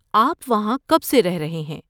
آپ وہاں کب سے رہ رہے ہیں؟